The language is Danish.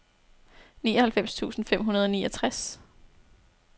nioghalvfems tusind fem hundrede og niogtres